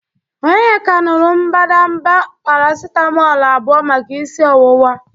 Onyeka nuru mbadamba paracitamolu abụọ maka isi ọwụwa.